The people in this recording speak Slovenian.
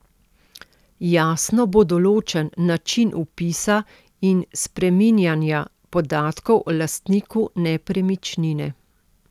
Jasno bo določen način vpisa in spreminjanja podatkov o lastniku nepremičnine.